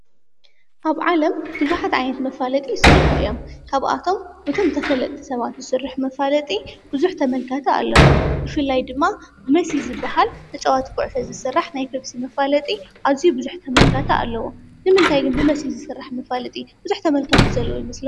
ኣብ ዓለም ብዙኃት ኣይነት መፋለጢ ይሥርሕ እዮም ካብኣቶም ብቶም ተፈለጥ ሰባት ዝሥርኅ መፋለጢ ብዙኅ ተመልካተ ኣለዎም። ብፊላይ ድማ መሲ ዝበሃል ተጨዋቲ ጕዕፈ ዝሥራሕ ናይ ከብሲ መፋለጢ ኣዙይ ብዙኅ ተመልካተኣለዎ ንምንታይ ግን ብመሲሕ ዝሥራሕ መፋለጢ ብዙኅ ተመልካ ትዘለዉ ይምስሉ?